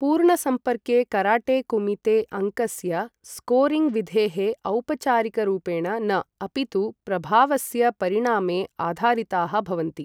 पूर्ण सम्पर्के karate kumite, अङ्कस्य स्कोरिङ्ग् विधेः औपचारिकरूपेण न, अपि तु प्रभावस्य परिणामे आधारिताः भवन्ति।